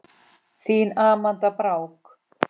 Þín Amanda Brák.